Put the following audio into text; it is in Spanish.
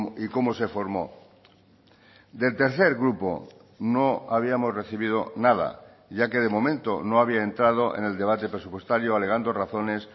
y cómo se formó del tercer grupo no habíamos recibido nada ya que de momento no había entrado en el debate presupuestario alegando razones